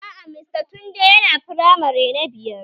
Aa, mr tunde yana firamare na biyar